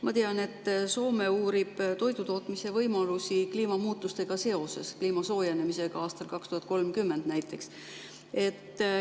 Ma tean, et Soome uurib toidutootmise võimalusi kliima soojenemise aastal 2030 näiteks.